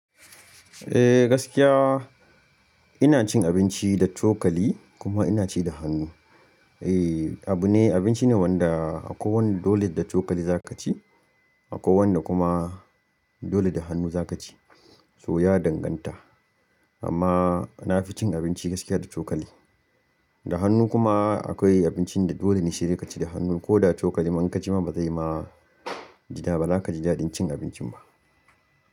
Eh gaskiya ina cin abinci da cokali kuma ina ci da hannu. Eh abu ne, abinci ne wanda akwai wanda dole da cokali zaka ci, akwai wanda kuma dole da hannu zaka ci. To ya danganta amma nafi cin abinci gaskiya da cokali. Da hannu kuma akwai abincin da dole ne sai dai ka ci da hannu ko da cokali ma in ka ci ma ba zai yi ma ji da ba zaka ji daɗin cin abincin ba.